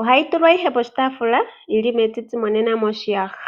ohayi tulwa poshitaafula yili metiti nenge moshiyaha.